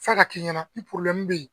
f'a ka kɛ i ɲɛna ni bɛ yen